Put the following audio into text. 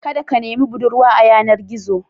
Kada ka nemi budurwa a yanar-gizo.